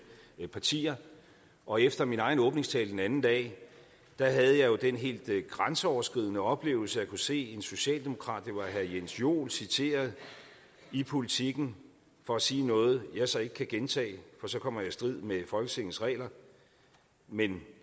partier og efter min egen åbningstale den anden dag havde jeg jo den helt grænseoverskridende oplevelse at kunne se en socialdemokrat det var herre jens joel citeret i politiken for at sige noget jeg så ikke kan gentage for så kommer jeg i strid med folketingets regler men